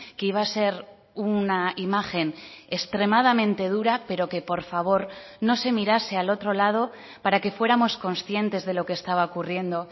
que iba a ser una imagen extremadamente dura pero que por favor no se mirase al otro lado para que fuéramos conscientes de lo que estaba ocurriendo